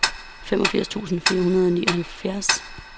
femogfirs tusind fire hundrede og nioghalvfjerds